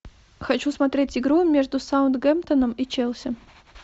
хочу смотреть игру между саутгемптоном и челси